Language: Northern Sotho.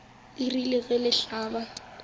le rile ge le hlaba